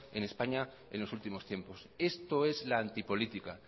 en españa en los últimos tiempos esto es la antipolítica